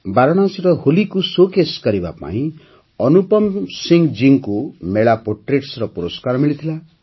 ବାରାଣସୀର ହୋଲିକୁ ଶୋକେସ୍ କରିବା ପାଇଁ ଅନୁପମ ସିଂହ ଜୀଙ୍କୁ ମେଳା ପୋଟ୍ରେଟ୍ସର ପୁରସ୍କାର ମିଳିଥିଲା